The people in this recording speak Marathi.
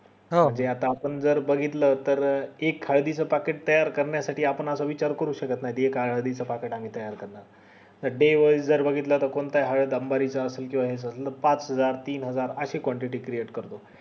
हम्म हे आता जर आपण बघितलं तर एक हळदी packet च तयार करण्या साठी आपण असा विचार करू शकत नाही हे काय हळदीच packet आम्ही तयार करणार अं day wise जर बघितलं कोणती हळद अंबानी च असेल किव्हा याच पाच हजार तीन हजार अशी quantity create करत